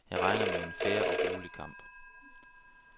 Jeg regner med en fair og rolig kamp.